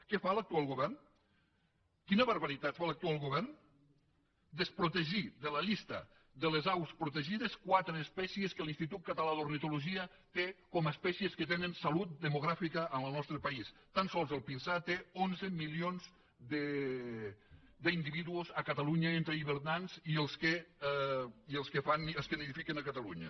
què fa l’actual govern quina barbaritat fa l’actual govern desprotegir de la llista de les aus protegides quatre espècies que l’institut català d’ornitologia té com a espècies que tenen salut demogràfica en el nostre país tan sols el pinsà té onze milions d’individus a catalunya entre hivernants i els que fan niu els que nidifiquen a catalunya